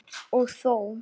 Og þó.